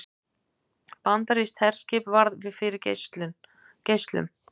Bandarískt herskip varð fyrir geislum